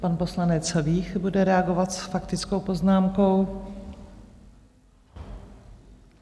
Pan poslanec Vích bude reagovat s faktickou poznámkou.